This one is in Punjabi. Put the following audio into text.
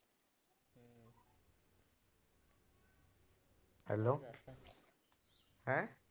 Hello ਹੈਂ